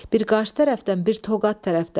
Bir Qars tərəfdən, bir Toqat tərəfdən.